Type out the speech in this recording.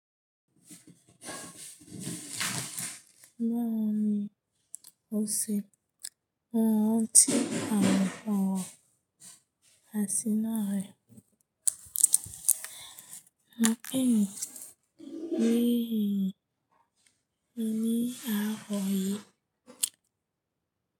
Báwo ni o ṣe mọ rantí àwọn ọ̀ro àṣìná rẹ? Mo pè é ní ìrírí ní àárọ̀ yìí.